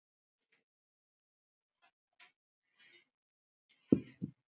Hvaða bakteríur eða veirur hafa fundist í íslenska regnbogasilungnum að Laxalóni?